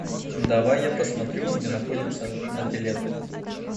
давай я посмотрю где находится нофелет